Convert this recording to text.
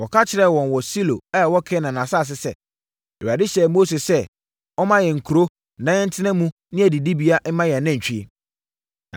Wɔka kyerɛɛ wɔn wɔ Silo a ɛwɔ Kanaan asase sɛ, “ Awurade hyɛɛ Mose sɛ, ɔmma yɛn nkuro na yɛntena mu ne adidibea mma yɛn anantwie.”